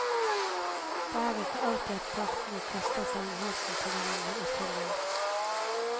Det er ikke alltid at partene kaster seg om halsen på hverandre og tilgir.